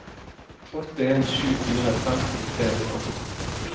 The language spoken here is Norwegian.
åtte en sju fire femten tre hundre og to